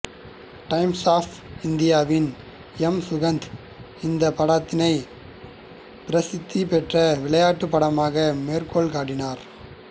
times of இந்தியாவின் M Sukanth இந்த படத்தினைப் பிரசித்திபெற்ற விளையாட்டுப் படமாக மேற்கோள் காட்டினார்